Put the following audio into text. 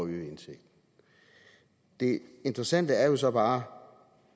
øge indtægten det interessante er jo så bare